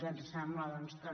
ens sembla doncs també